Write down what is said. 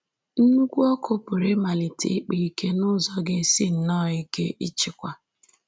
Nnukwu ọkụ pụrụ ịmalite ịkpa ike n’ụzọ ga-esi nnọọ ike ịchịkwa